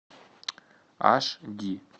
аш ди